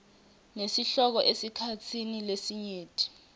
nesihloko esikhatsini lesinyenti